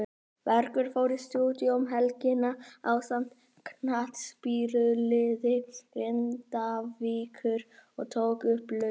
Bergur fór í stúdíó um helgina ásamt knattspyrnuliði Grindavíkur og tók upp lögin.